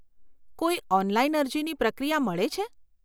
કોઈ ઓનલાઈન અરજીની પ્રક્રિયા મળે છે?